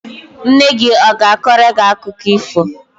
Nne gị a ga-akọrọ gị akụkọ ifo?